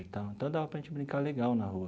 Então, então dava para a gente brincar legal na rua.